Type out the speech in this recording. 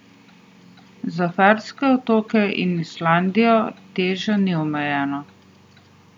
Za Ferske otoke in Islandijo teža ni omejena.